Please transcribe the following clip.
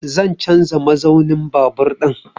Zan canza mazaunin babur ɗin